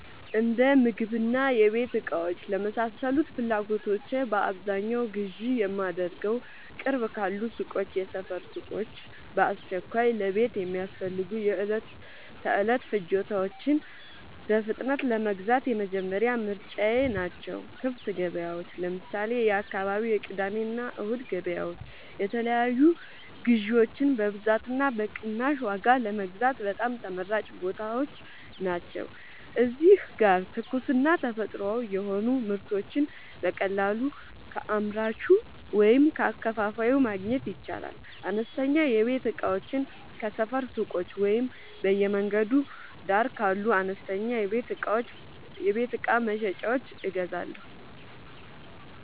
የእንደምግብና የቤት እቃዎች ለመሳሰሉት ፍላጎቶቼ በአብዛኛው ግዢ የማደርገዉ፦ ቅርብ ካሉ ሱቆች (የሰፈር ሱቆች)፦ በአስቸኳይ ለቤት የሚያስፈልጉ የዕለት ተዕለት ፍጆታዎችን በፍጥነት ለመግዛት የመጀመሪያ ምርጫየ ናቸው። ክፍት ገበያዎች (ለምሳሌ፦ የአካባቢው የቅዳሜና እሁድ ገበያዎች) የተለያዩ ግዥዎችን በብዛትና በቅናሽ ዋጋ ለመግዛት በጣም ተመራጭ ቦታዎች ናቸው። እዚህ ጋር ትኩስና ተፈጥሯዊ የሆኑ ምርቶችን በቀጥታ ከአምራቹ ወይም ከአከፋፋዩ ማግኘት ይቻላል። አነስተኛ የቤት እቃዎችን ከሰፈር ሱቆች ወይም በየመንገዱ ዳር ካሉ አነስተኛ የቤት እቃ መሸጫዎች እገዛለሁ።